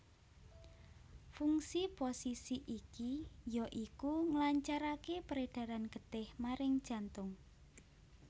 Fungsi posisi iki ya iku nglancaraké peredaran getih maring jantung